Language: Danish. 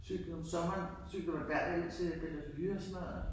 Cyklede om sommeren cyklede under hver ud til Bellevue og sådan noget